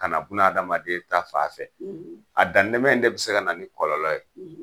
Ka buna adamaden ta fan fɛ , a dantɛmɛ in de bi se ka na ni kɔlɔlɔ ye